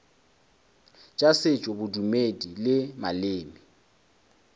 tša setšo bodumedi le maleme